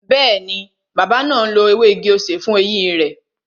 Bẹẹni, bàbá náà ń lo ewé igi-osè fún eyín rẹ